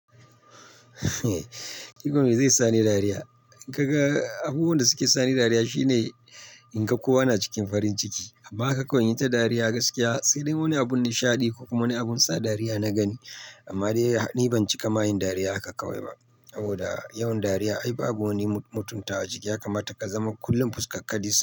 Duk wanda zai sani dariya. In ka ga abubuwan da suke sani dariya shine in ga kowa na cikin farin ciki, amma haka kawai inyi ta dariya gaskiya, sai dai wani abun nishadi ko kuma wani abun sa dariya na gani. Amma dai ni ban cika mahayin dariya aka kawowa ba, saboda yawan dariya ai babu wani mutuntawa ciki, ya kamata ka zama kullum fuskarka dis.